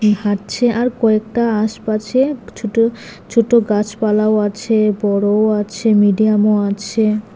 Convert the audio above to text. হাঁটছে আর কয়েকটা আশপাশে ছোট ছোট গাছপালাও আছে বড়ও আছে মিডিয়ামও আছে।